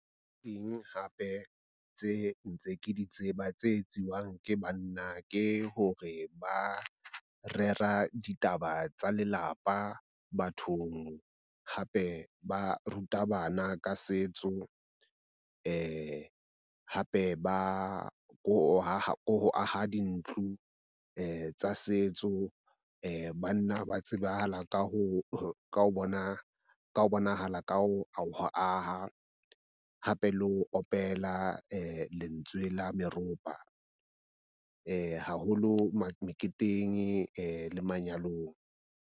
Teng hape tse ntse ke di tseba tse etsiwang ke banna ke hore ba rera ditaba tsa lelapa bathong hape ba ruta bana ka setso hape ba ho haha dintlo tsa setso. Banna ba tsebahala ka ho ka bona ka hobane bonahala ka ho aha. Hape le opela lentswe la meropa haholo meketeng le manyalong.